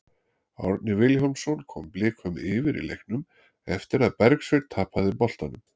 Árni Vilhjálmsson kom Blikum yfir í leiknum eftir að Bergsveinn tapaði boltanum.